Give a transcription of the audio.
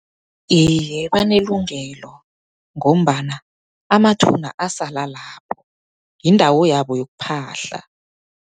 Iye, banelungelo ngombana amathuna asala lapho. Yindawo yabo yokuphahla.